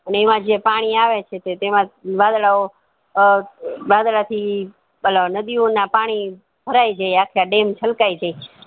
ને એમાં જે પાણી આવે છે તેમાં વાદળઓ અ વાદળથી અલ નાદીયોના પાણી ભરાય જાય અખા dam છલકાય જાય